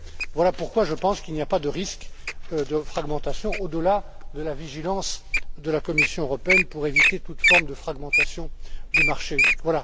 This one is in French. Voilà pourquoi je pense qu'il n'y a pas de risque de fragmentation au delà de la vigilance de la Commission européenne pour éviter toute forme de fragmentation du marché unique.